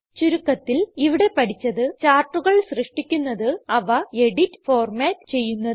ചുരുക്കത്തിൽ ഇവിടെ പഠിച്ചത് ചാർട്ടുകൾ സൃഷ്ടിക്കുന്നത് അവ എഡിറ്റ് ഫോർമാറ്റ് ചെയ്യുന്നത്